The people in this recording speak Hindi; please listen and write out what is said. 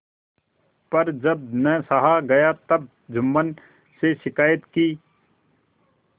पर जब न सहा गया तब जुम्मन से शिकायत की